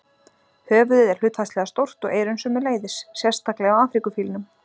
Höfuðið er hlutfallslega stórt og eyrun sömuleiðis, sérstaklega á Afríkufílnum.